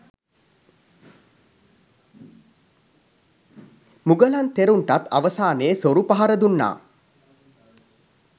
මුගලන් තෙරුන්ටත් අවසානයේ සොරු පහර දුන්නා